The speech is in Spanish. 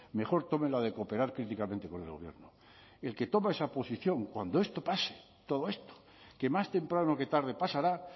mejor tome la de cooperar críticamente con el gobierno el que toma esa posición cuando esto pase todo esto que más temprano que tarde pasará